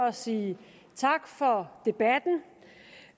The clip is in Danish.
at sige tak for debatten